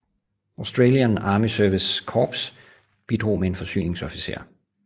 Australian Army Service Corps bidrog med en forsyningsofficer